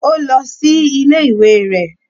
Ó lọ sí ilé ìwé rẹ̀.